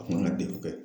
A kun ka degun bɛɛ